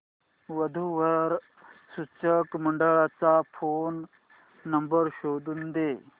वधू वर सूचक मंडळाचा फोन नंबर शोधून दे